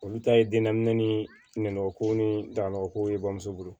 Olu ta ye den naminɛ ni nɛnɔgɔ ko ni dalakow ye bamuso bolo